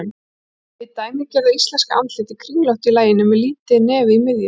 Hið dæmigerða íslenska andlit er kringlótt í laginu með lítið nef í miðju.